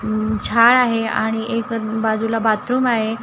उम्म झाडं आहे आणि एक बाजूला बाथरूम आहे.